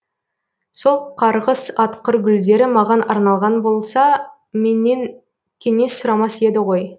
сол қарғыс атқыр гүлдері маған арналған болса менен кеңес сұрамас еді ғой